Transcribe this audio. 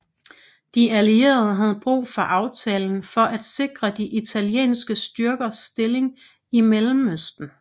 De allierede havde brug for aftalen for at sikre de italienske styrkers stilling i Mellemøsten